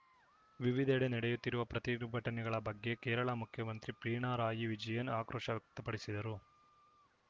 ವಿವಿಧೆಡೆ ನಡೆಯುತ್ತಿರುವ ಪ್ರತಿಭಟನೆಗಳ ಬಗ್ಗೆ ಕೇರಳ ಮುಖ್ಯಮಂತ್ರಿ ಪಿಣರಾಯಿ ವಿಜಯನ್‌ ಆಕ್ರೋಶ ವ್ಯಕ್ತಪಡಿಸಿದರು